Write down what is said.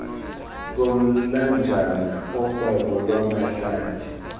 komlanjana urhwebo lwamahlathi